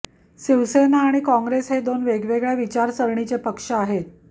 शिवसेना आणि काँग्रेस हे दोन वेगळ्या विचारसरणीचे पक्ष आहेत